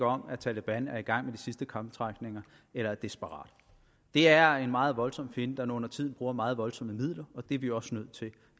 om at taleban er i gang med de sidste krampetrækninger eller er desperat det er en meget voldsom fjende der undertiden bruger meget voldsomme midler og det er vi også nødt til at